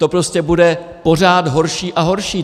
To prostě bude pořád horší a horší.